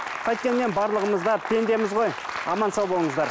қайткенмен барлығымыз да пендеміз ғой аман сау болыңыздар